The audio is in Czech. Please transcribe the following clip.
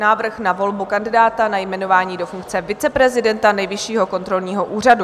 Návrh na volbu kandidáta na jmenování do funkce viceprezidenta Nejvyššího kontrolního úřadu.